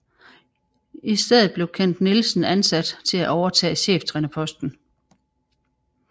I stedet blev Kent Nielsen ansat til at overtage cheftrænerposten